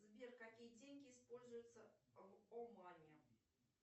сбер какие деньги используются в омане